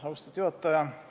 Austatud juhataja!